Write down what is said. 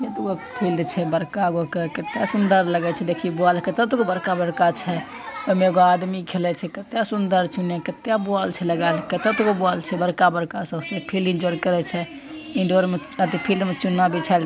बड़का-बड़का कितना सुंदर लागल छे देखीय तत्ब बुआल बड़का-बड़का छे एमे आदमी खेला छे किता इतना सुंदर लगे छे कितना बुआल का छे फिलिम करे छे चुन्ना बिछाइल छे।